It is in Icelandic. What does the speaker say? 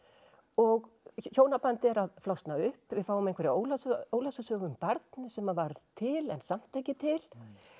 og hjónabandið er að flosna upp við fáum einhverja óljósa óljósa sögu um barn sem varð til en samt ekki til